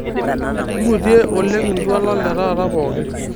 ngutie oleng iltualan letaata pooki